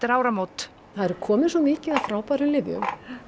áramót það er komið svo mikið af frábærum lyfjum